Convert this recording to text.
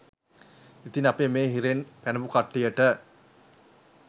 ඉතින් අපේ මේ හිරෙන් පැනපු කට්ටියට